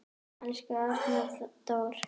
Elsku Arnar Dór.